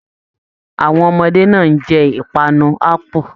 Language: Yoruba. Àwọn ọmọdé náà n jẹ ipanu apu.